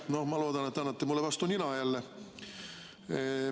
No ma loodan, et te annate mulle jälle vastu nina.